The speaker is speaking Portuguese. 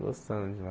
Gostando de lá.